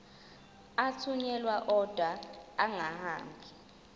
athunyelwa odwa angahambi